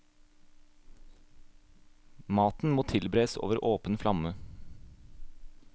Maten må tilberedes over åpen flamme.